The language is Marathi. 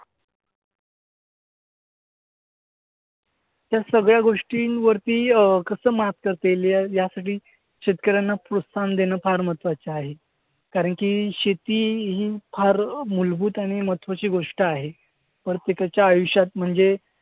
त्या सगळ्या गोष्टींवरती अं कसं मात करता येईल यायासाठी शेतकऱ्यांना प्रोत्साहन देणं फार महत्वाचं आहे. कारण की शेती ही फार मूलभूत आणि महत्वाची गोष्ट आहे. प्रत्येकाच्या आयुष्यात म्हणजे